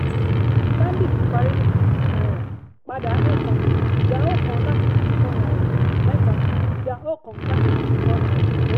stanbic parí ní fifty two naira padà ẹẹ́ta ìdáhùn kan láti fifty four naira mẹ́ta ìdá oókan láti fifty four naira oókan